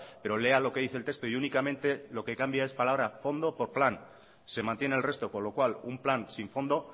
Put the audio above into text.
pero lea lo que dice el texto y únicamente lo que cambia es palabra fondo por plan se mantiene el resto con lo cual un plan sin fondo